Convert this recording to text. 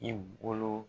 I bolo